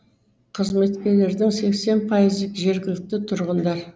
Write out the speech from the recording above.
қызметкерлердің сексен пайызы жергілікті тұрғындар